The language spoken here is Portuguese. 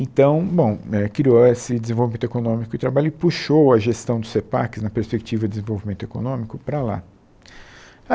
Então, bom, é, criou esse desenvolvimento econômico e trabalho e puxou a gestão do CEPAC na perspectiva de desenvolvimento econômico para lá.